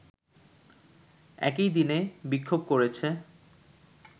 একই দিনে বিক্ষোভ করেছে